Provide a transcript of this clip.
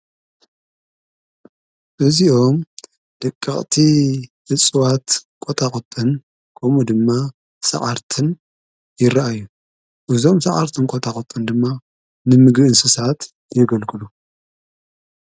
እዚኦም ደቀቕቲ እጽዋት ቈጣቁጥን ከምኡ ድማ ሰዓርትን ይረኣዩ። እዞም ሰዓርትን ቈታቁጥን ድማ ንምግቢ እንስሳት የገልግሉ።